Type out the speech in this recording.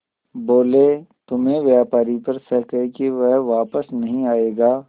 बोले तुम्हें व्यापारी पर शक है कि वह वापस नहीं आएगा